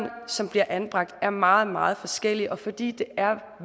som bliver anbragt er meget meget forskellige og fordi det er